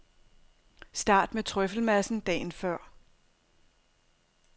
Start med trøffelmassen dagen før.